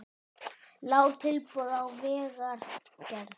Lág tilboð í vegagerð